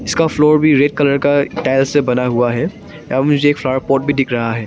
इसका फ्लोर भी red colour का टाइल्स बना हुआ है यहां मुझे एक फ्लावर पॉट भी दिख रहा है।